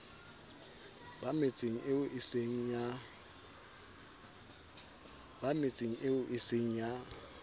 ba metseng eo eseng ya